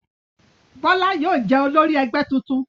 Bọ́lá yóò jẹ́ olórí ẹgbẹ́ tuntun.